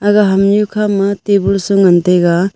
aga hamnui khama table sa ngan tega.